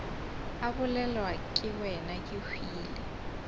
a bolelwa ke wena kehwile